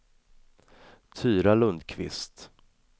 Tyra Lundkvist